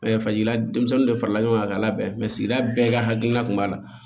fajila denmisɛnnin de farala ɲɔgɔn kan k'a labɛn sigida bɛɛ ka hakilina kun b'a la